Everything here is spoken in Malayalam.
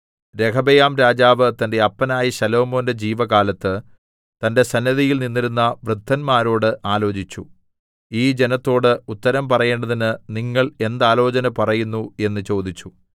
രെഹബെയാംരാജാവ് തന്റെ അപ്പനായ ശലോമോന്റെ ജീവകാലത്ത് തന്റെ സന്നിധിയിൽ നിന്നിരുന്ന വൃദ്ധന്മാരോട് ആലോചിച്ചു ഈ ജനത്തോട് ഉത്തരം പറയേണ്ടതിന് നിങ്ങൾ എന്താലോചന പറയുന്നു എന്ന് ചോദിച്ചു